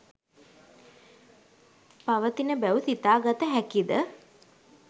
පවතින බැව් සිතාගත හැකිද?